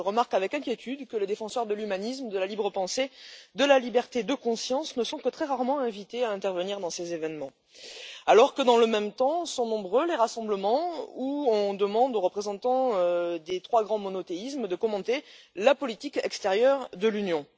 Je remarque avec inquiétude que les défenseurs de l'humanisme, de la libre pensée, de la liberté de conscience ne sont que très rarement invités à intervenir dans ces événements, alors que, dans le même temps, sont nombreux les rassemblements où on demande aux représentants des trois grands monothéismes de commenter la politique extérieure de l'Union.